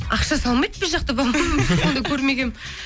ақша салмайды біз жақта по моему ондай көрмегенмін